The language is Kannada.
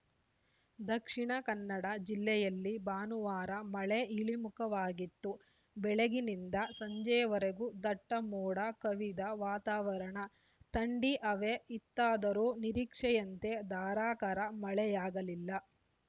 ದಕ್ಷಿಣ ಕನ್ನಡ ಜಿಲ್ಲೆಯಲ್ಲಿ ಭಾನುವಾರ ಮಳೆ ಇಳಿಮುಖವಾಗಿತ್ತು ಬೆಳಗ್ಗಿನಿಂದ ಸಂಜೆವರೆಗೂ ದಟ್ಟಮೋಡ ಕವಿದ ವಾತಾವರಣ ಥಂಡಿ ಹವೆ ಇತ್ತಾದರೂ ನಿರೀಕ್ಷೆಯಂತೆ ಧಾರಾಕಾರ ಮಳೆಯಾಗಲಿಲ್ಲ